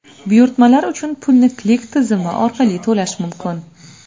Buyurtmalar uchun pulni Click tizimi orqali to‘lash mumkin.